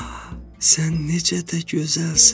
Ah, sən necə də gözəlsən.